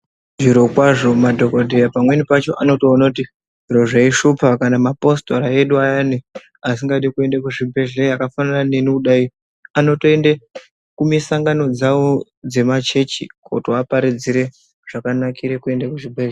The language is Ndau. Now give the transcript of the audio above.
Zvirokwazvo madhokodheya pamweni pacho anotoona kuti zviro zvaishupa kana mapositora edu ayani, asingadi kuende kuzvibhedhleya akafanana neni kudai, anotoende kumisangano dzavo dzemachechi kuti vaparidzire zvakanakire kuende kuzvibhedhlera.